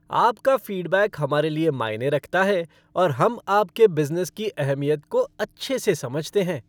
आपका फ़ीडबैक हमारे लिए मायने रखता है और हम आपके बिज़नेस की अहमियत को अच्छे से समझते हैं।